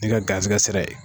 N'i ka garizigɛ sira ye